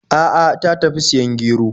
A'a, ta tafi siyan gero.